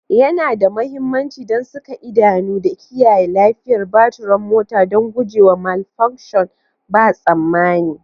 Yana da mahimmanci don saka idanu da kiyaye lafiyar baturan mota don gujewa malfunction ba tsammani.